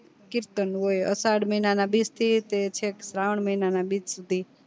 કીર્તન હોય અસાઢ મહિના ના બીજ થી ચેક શ્રાવણ મહિના ના બીજ સુધી